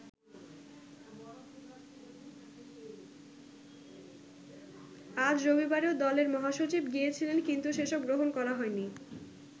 আজ রবিবারেও দলের মহাসচিব গিয়েছিলেন কিন্তু সেসব গ্রহণ করা হয়নি।